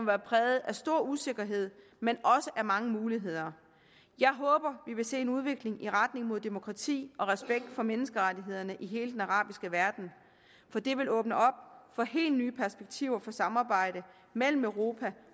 være præget af stor usikkerhed men også af mange muligheder jeg håber vi vil se en udvikling i retning mod demokrati og respekt for menneskerettighederne i hele den arabiske verden for det vil åbne op for helt nye perspektiver for samarbejde mellem europa